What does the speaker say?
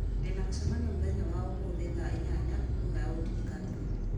ndĩna mũcemanio mũthenya wa ũmũthĩ thaa inyanya ngũkwĩhoya ũndirikanie